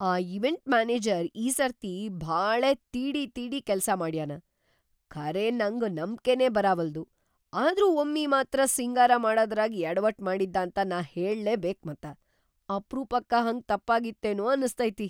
ಆ event manager ಈ ಸರ್ತಿ ಭಾಳೇ ತೀಡಿ ತೀಡಿ ಕೆಲ್ಸಮಾಡ್ಯಾನ, ಖರೇ ನಂಗ್‌ ನಂಬ್ಕೆನೇ ಬರಾವಲ್ದು. ಆದ್ರೂ ಒಮ್ಮಿ ಮಾತ್ರ ಸಿಂಗಾರ ಮಾಡದ್ರಾಗ್ ಯಡವಟ್‌ ಮಾಡಿದ್ದಾಂತ ನಾ ಹೇಳ್ಲೇ ಬೇಕ್‌ ಮತ್ತ. ಅಪರೂಪಕ್ಕ ಹಂಗ ತಪ್ಪಾಗಿತ್ತೇನೋ ಅನಸ್ತೈತಿ.